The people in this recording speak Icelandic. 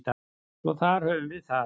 Svo þar höfum við það.